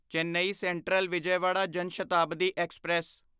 Chennai central Vijayawada Jan Shatabdi express